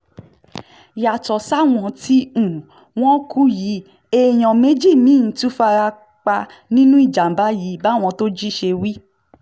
yàtọ̀ sáwọn mẹ́ta tí um wọ́n kú yìí èèyàn méjì mí-ín um tún fara pa nínú ìjàmàbá yìí báwọn thoji ṣe wí